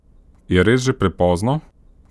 Je res že prepozno?